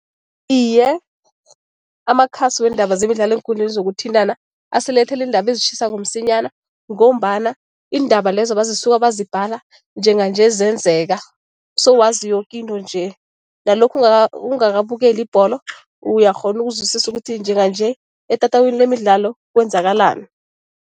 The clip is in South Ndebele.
Iye, amakhasi weendaba zemidlalo eenkundleni zokuthintana asilethela iindaba ezitjhisako msinyana ngombana iindaba lezo bazisuka bazibhala njenganje zenzeka, sowazi yoke into nje. Nalokhu ungakabukeli ibholo uyakghona ukuzwisisa ukuthi njenganje etatawini lemidlalo kwenzakalani.